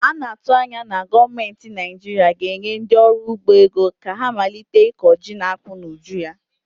A na-atụ anya na gọọmentị Naijiiria ga-enye ndị ọrụ ugbo ego ka ha malite ịkọ ji na akpụ n'ụjụ ya.